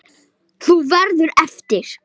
Þú verður eftir.